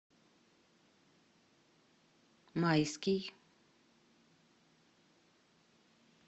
майский